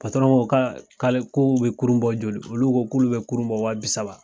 ka kale ko u be kurun bɔ joli? Olu ko ko olu be kurun bɔ waa bi saba.